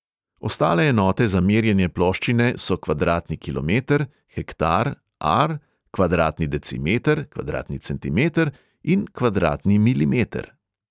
Ostale enote za merjenje ploščine so kvadratni kilometer, hektar, ar, kvadratni decimeter, kvadratni centimeter in kvadratni milimeter.